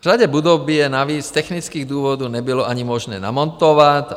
V řadě budov by je navíc z technických důvodů nebylo ani možné namontovat.